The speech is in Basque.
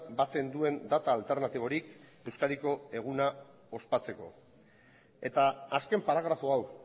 batzen duen data alternatiborik euskadiko eguna ospatzeko eta azken paragrafo hau